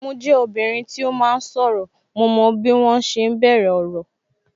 Mo jẹ obìnrin tí ó máa ń sọ̀rọ̀, mo mọ bí wọn ṣe ń bẹ̀rẹ̀ ọ̀rọ̀